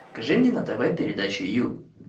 покажи мне на тв передачу ю